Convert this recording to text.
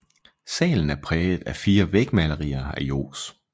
Salen er præget af fire vægmalerier af Johs